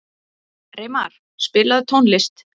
Reimar, spilaðu tónlist.